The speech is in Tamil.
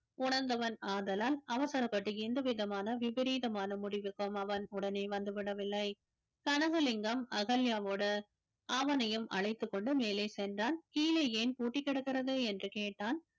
உணர்ந்தவன் ஆதலால் அவசரப்பட்டு எந்த விதமான விபரீதமான முடிவுக்கும் அவன் உடனே வந்து விடவில்லை கனகலிங்கம் அகல்யாவோடு அவனையும் அழைத்துக் கொண்டு மேலே சென்றான் கீழே ஏன் பூட்டிக் கிடக்கிறது என்று கேட்டான்